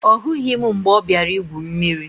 Ọ hụghị m mgbe ọ bịara igwu mmiri